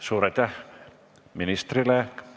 Suur aitäh ministrile!